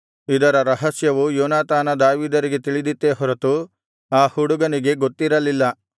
ಇದರ ರಹಸ್ಯವು ಯೋನಾತಾನ ದಾವೀದರಿಗೆ ತಿಳಿದಿತ್ತೇ ಹೊರತು ಆ ಹುಡುಗನಿಗೆ ಗೊತ್ತಿರಲಿಲ್ಲ